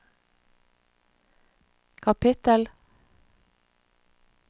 kapittel